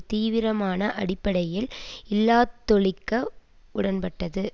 தீவிரமான அடிப்படையில் இல்லாதொழிக்க உடன்பட்டது